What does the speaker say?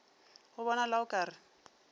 go bonala o ka re